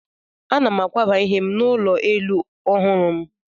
Ana m akwaba ihe m n'ime ụlọ elu ọhụrụ m.